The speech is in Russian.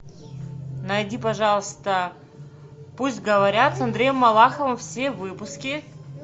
найди пожалуйста пусть говорят с андреем малаховым все выпуски